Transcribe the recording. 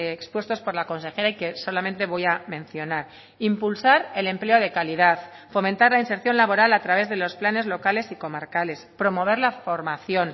expuestos por la consejera y que solamente voy a mencionar impulsar el empleo de calidad fomentar la inserción laboral a través de los planes locales y comarcales promover la formación